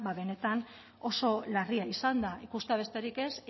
benetan oso larria izan da ikustea besterik ez